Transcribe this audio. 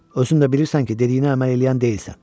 Özün də bilirsən ki, dediyinə əməl eləyən deyilsən.